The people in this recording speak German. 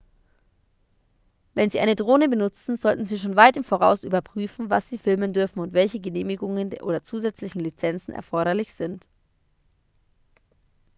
wenn sie eine drohne benutzen sollten sie schon weit im voraus überprüfen was sie filmen dürfen und welche genehmigungen oder zusätzlichen lizenzen erforderlich sind